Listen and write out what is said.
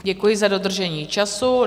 Děkuji za dodržení času.